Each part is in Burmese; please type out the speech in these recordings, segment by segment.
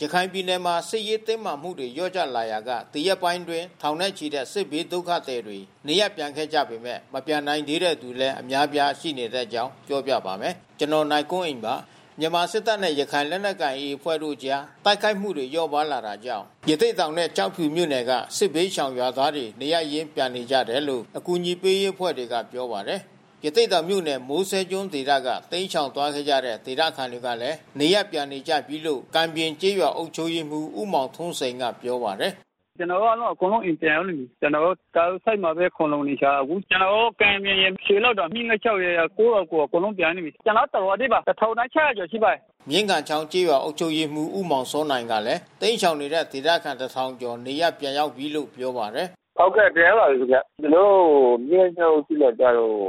ရခိုင်ပြည်နယ်မှာ စစ်ရေးတင်းမာမှုတွေ လျော့ကျလာရာက ဒီရက်ပိုင်းအတွင်း ထောင်နဲ့ချီတဲ့ စစ်ဘေးဒုက္ခသည်တွေ နေရပ်ပြန်ခဲ့ကြပေမဲ့ မပြန်နိုင်သေးတဲ့သူတွေလည်း အများအပြားရှိနေတဲ့အကြောင်း ပြောပြပါမယ်။ ဗွီအိုအေမြန်မာပိုင်း သတင်းထောက် ကိုနိုင်ကွန်းအိန်က သတင်းပေးပို့ထားပါတယ်။ မြန်မာစစ်တပ်နဲ့ ရခိုင်လက်နက်ကိုင် AA အဖွဲ့တို့အကြား တိုက်ခိုက်မှုတွေ လျော့ပါးလာတာကြောင့် ရသေ့တောင်နဲ့ ကျောက်ဖြူမြို့နယ်တွေက စစ်ဘေးရှောင် ရွာသားတွေ နေရပ်ရင်းပြန်နေကြတယ်လို့ အကူအညီပေးရေးအဖွဲ့တွေက ပြောပါတယ်။ ရသေ့တောင်မြို့နယ် မိုးစဲကျွန်းဒေသက တိမ်းရှောင်သွားခဲ့ကြတဲ့ ဒေသခံတွေလည်း နေရပ်ပြန်နေကြပြီလို့ ကံပြင် ကျေးရွာအုပ်ချုပ်ရေးမှူး ဦးမောင်ထွန်းစိန်ကပြောပါတယ်။ “ကျနော်တို့ကတော့ အကုန်လုံး အိမ်ပြန်ရောက်နေပြီ။ ကျနော်တို့ ကြာရိုးဆိပ်မှာပဲ ခိုလှုံနေကြတယ်။ ကျနော်တို့ ကံပြင်ရယ်ရွှေလောင်းတင်၊ မြင်းဂန်ချောင်းရယ် ကိုယ့်ရွာကိုယ် အကုန်လုံးပြန်နေပြီ။ ကျနော်တို့ တရွာထဲပါ ၁,၆၀၀ ကျော်ရှိပါတယ်။” မြင်းဂန်ချောင်းကျေးရွာအုပ်ချုပ်ရေးမှူး ဦးမောင်စောနိုင်ကလည်း တိမ်းရှောင်နေတဲ့ ဒေသခံ ၁,၀၀၀ ကျော် နေရပ်ပြန် ရောက်နေပြီလို့ ပြောပါတယ်။ “ဟုတ်ကဲ့။ ပြန်ရောက်လာပါပြီးခင်ဗျ။ ကျနော်တို့ မြင်းဂန်ချောင်းအုပ်စုမှာကျတော့ ၁,၃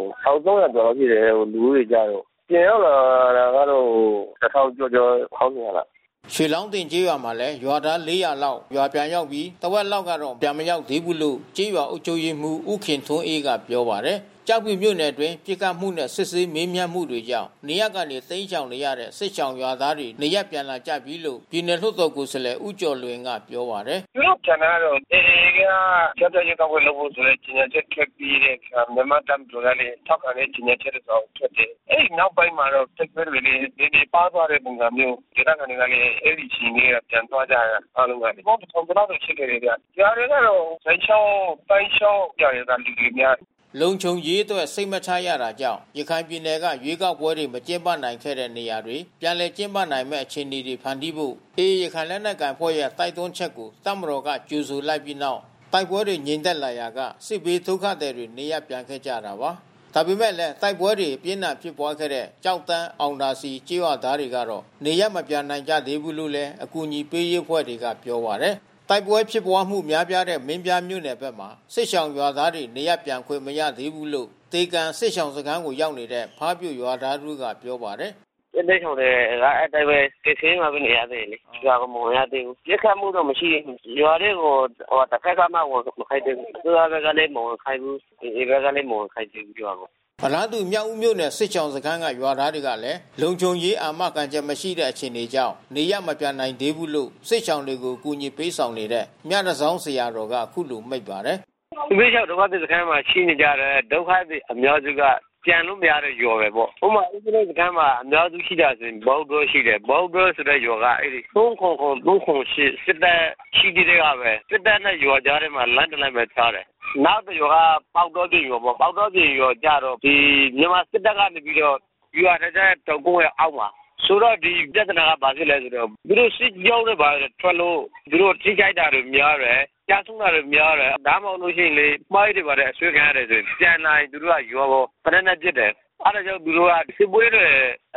၀၀ ကျော်လောက်ရှိတယ် လူဦးရေကျတော့။ ပြန်ရောက်လာတာကတော့ ၁,၀၀၀ ကျော်ကျော်၊ ၁,၂၀၀ လောက်။" ရွှေလောင်းတင်ကျေးရွာမှာလည်း ရွာသား ၄၀၀ လောက်ရွာပြန်ရောက်ပြီး တဝက်လောက်ကတော့ ပြန်မရောက်သေးဘူးလို့ ကျေးရွာအုပ်ချုပ်ရေးမှူး ဦးခင်ထွန်းအေးကပြောပါတယ်။ ကျောက်ဖြူမြို့နယ်အတွင်း ပစ်ခတ်မှုနဲ့ စစ်ဆေးမေးမြန်းမှုတွေကြောင့် နေရပ်ကနေ တိမ်းရှောင်နေရတဲ့ စစ်ရှောင်ရွာသားတွေ နေရပ်ပြန်လာကြပြီးလို့ ပြည်နယ်လွှတ်တော်ကိုယ်စားလှယ်ဦးကျော်လွင်ကပြောပါတယ်။ “သူတို့ပြန်တာကတော့ AA က ကြားဖြတ်ရွေးကောက်ပွဲလုပ်ဖို့ ကြေညာချက်ထွက်ပြီးတဲ့အခါ မြန်မာ့တပ်မတော်ကလည်း ထောက်ခံတဲ့ ကြေညာချက် တစောင်ထွက်တယ်။ အဲဒီနောက်ပိုင်းမှာတော့ တိုက်ပွဲတွေလည်း နည်းနည်းပါးသွားတဲ့ပုံစံမျိုး။ ဒေသခံတွေကလည်း အဲဒီအချိန်ကတည်းက ပြန်သွားကြတာအားလုံးက လူပေါင်း ၁,၀၀၀ ကျော်လောက်တော့ရှိမယ်ဗျ။ ရွာတွေကတော့ ဇိုင်ချောင်း၊ သိုင်းချောင်း ရွာတွေက လူတွေများတယ်။” လုံခြုံရေးအတွက် စိတ်မချရတာကြောင့် ရခိုင်ပြည်နယ်က ရွေးကောက်ပွဲတွေ မကျင်းပနိုင်ခဲ့တဲ့ နေရာတွေမှာ ပြန်လည် ကျင်းပနိုင်မယ့် အခြေအနေတွေ ဖန်တီးဖို့ AA ရခိုင်လက်နက်ကိုင်အဖွဲ့ရဲ့ တိုက်တွန်းချက်ကို တပ်မတော်က ကြိုဆို လိုက်ပြီးနောက် တိုက်ပွဲတွေ ငြိမ်သက်လာရာက စစ်ဘေးဒုက္ခသည်တွေ နေရပ်ပြန်ခဲ့ကြတာပါ။ ဒါပေမဲ့လည်း တိုက်ပွဲတွေ အပြင်းအထန်ဖြစ်ပွါးခဲ့တဲ့ ကျောက်တန်း၊ အောင်သာစည်ကျေးရွာသားတွေတော့ နေရပ်မပြန်နိုင်ကြသေးဘူးလို့လည်း အကူအညီပေးရေးအဖွဲ့တွေကပြောပါတယ်။ တိုက်ပွဲဖြစ်ပွါးမှု များပြားတဲ့ မင်းပြားမြို့နယ်ဘက်မှာ စစ်ရှောင်ရွာသားတွေ နေရပ်ပြန်ခွင့်မရသေးဘူးလို့ သေကန်စစ်ရှောင်စခန်းကို ရောက်နေတဲ့ ဖါးပြိုရွာသား တဦးကပြောပါတယ်။ “စစ်ဘေးရှောင်တွေက အဲဒီအတိုင်းပဲ ကယ်ဆယ်ရေးမှာပဲ နေရသေးတယ်လေ။ ရွာကိုမဝင်ရသေးဘူး။ ပစ်ခတ်မှုတော့ မရှိသေးဘူး။ တဘက်ကမှ ဝင်မခိုင်းသေးဘူး။ အစိုးရကလည်း မဝင်ခိုင်းဘူး။ AA ကလည်း မဝင်ခိုင်းသေးဘူးရွာကို။” အလားတူ မြောက်ဦးမြို့နယ် စစ်ရှောင်စခန်းကရွာသားတွေလည်း လုံခြုံရေး အာမခံချက်မရှိတဲ့အခြေအနေကြောင့် နေရပ်မပြန်နိုင်သေးဘူးလို့ စစ်ရှောင်တွေကို အကူညီပေးဆာင်နေတဲ့ မြတန်ဆောင်းဆရာတော်က အခုလို မိန့်ပါတယ်။ “စစ်ဘေးရှောင်ဒုက္ခသည်စခန်းမှာ ရှိတဲ့ ဒုက္ခသည်အများစုက ပြန်လို့ မရတဲ့ရွာတွေပေါ့။ ဥပမာ စစ်ဘေးရှောင်စခန်းမှာ ရှိတဲ့ အများစုဟာဆိုရင် ပေါက်တောရှိတယ်။ ပေါက်တောဆိုတဲ့ရွာက ၃၇၇၊ ၃၇၈ စစ်တပ်ရှိကတည်းကပဲ။ စစ်တပ်နဲ့ ရွာကြားထဲမှာ လမ်းတလမ်းပဲ ခြားတယ်။ နောက်တရွာက ပေါက်တောပြင်ရွာပေါ့။ ပေါက်တောပြင်ရွာကျတော့ မြန်မာစစ်တပ်ကနေပြီးတော့ ဗျူဟာ တောင်ကုန်းရဲ့အောက်မှာ။ ဆိုတော့ ဒီပြဿနာက ဘာဖြစ်လဲဆိုတော့ သူတို့စစ်ကြောင်းဘာတွေ ထွက်လို့ သူတို့ ထိခိုက်တာတွေ များတယ်။ ကျဆုံးတာတွေ များတယ်။ ဒါမှမဟုတ်လို့ရှိရင် မိုင်းတွေဘာတွေအထိများလို့ရှိရင် ပြန်လာရင်သူတို့က ရွာကို သေနတ်နဲ့ ပစ်တယ်။ အဲဒါကြောင့်သူတို့က စစ်ပွဲတွေ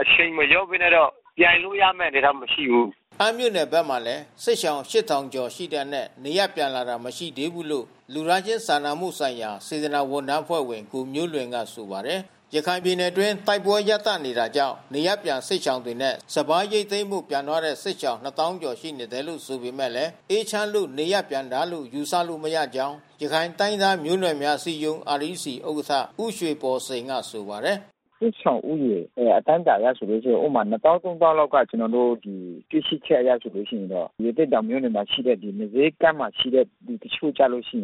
အရှိန်မလျှော့ဘဲနဲ့တော့ ပြန်လို့ရမယ့် ဒေသမရှိဘူး။” အမ်းမြိုှု့နယ်ဘက်မှာလည်း စစ်ရှောင် ၈,၀၀၀ ကျော်ရှိတဲ့အနက် နေရပ်ပြန်လာတာ မရှိသေးဘူးလို့ လူသားချင်းစာနာမှုဆိုင်ရာ စေတနာ့ဝန်ထမ်းအဖွဲ့ဝင်ကိုမျိုးလွင်ကဆိုပါတယ်။ ရခိုင်ပြည်နယ်အတွင်း တိုက်ပွဲရပ်တန့်နေတာကြောင့် နေရပ်ပြန်စစ်ရှောင်တွေနဲ့ စပါးရိတ်သိမ်းဖို့ ပြန်သွားတဲ့စစ်ရှောင် ၂၀,၀၀၀ ကျော်ရှိနေတယ်ဆိုပေမဲ့ အေးချမ်းလို့နေရပ်ပြန်တာလို့ ယူဆလို့မရကြောင်းရခိုင်တိုင်းရင်းသား မျိုးနွယ်များအစည်းအရုံး REC ဥက္ကဋ္ဌ ဦးရွှေဘော်စိန်ကဆိုပါတယ်။ “စစ်ရှောင်ဦးရေအတိုင်းအတာအရဆိုလို့ရှိရင် ဥပမာ ၂၀,၀၀၀၊ ၃၀,၀၀၀ လောက်က ကျနော်တို့ တွေ့ရှိချက်အရဆိုလို့ ရှိရင်တော့ ရသေ့တောင်မြို့နယ်မှာ ရှိတဲ့ မိုးစဲကမ်းမှာရှိတဲ့ လူတချို့ကျလို့ရှိရ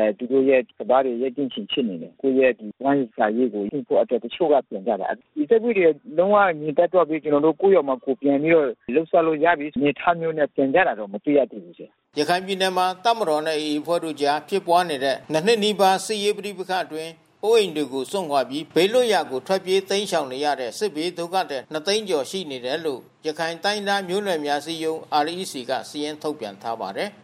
င် သူတို့ရဲ့ စပါးတွေ ရိတ်သိမ်းချိန်ဖြစ်နေတယ်။ သူတို့ရဲ့ ဝမ်းစာရေးကို လုပ်ဖို့အတွက် တချို့ကပြန်ကြတာ။ ဒီတိုက်ပွဲတွေ လုံးဝငြိမ်သက်သွားပြီး ကျနော်တို့ ကိုယ့်ရွာမှာကိုယ်ပြန်ပြီးတော့ လုပ်စားလို့ရပြီး အနေအထားမျိုးနဲ့ ပြန်ကြတာ မတွေ့ရဘူး။” ရခိုင်ပြည်နယ်မှာ တပ်မတော်နဲ့ AA အဖွဲ့တို့ကြား ဖြစ်ပွားနေတဲ့ ၂ နှစ်နီးပါးကြာ စစ်ရေးပဋိပက္ခအတွင်း အိုးအိမ်တွေကို စွန့်ခွာပြီး ဘေးလွှတ်ရာကို ထွက်ပြေးတိမ်းရှောင်နေရတဲ့ စစ်ဘေးဒုက္ခသည် ၂၀၀,၀၀၀ ကျော်ရှိတယ်လို့ ရခိုင်တိုင်းရင်းသားမျိုးနွယ်များ အစည်းအရုံး REC က စာရင်းထုတ်ပြန်ထားပါတယ်။